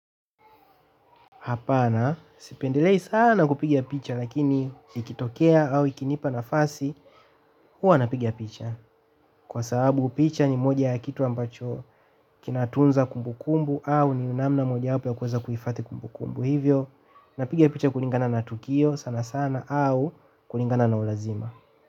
Hapana, sipendelei sana kupiga picha lakini ikitokea au ikinipa nafasi, huwa napiga picha kwa sababu picha ni moja ya kitu ambacho kinatunza kumbukumbu au ni namna mojawapa ya kuweza kuhifadhi kumbukumbu. Hivyo, napiga picha kulingana na tukio sana sana au kulingana na ulazima.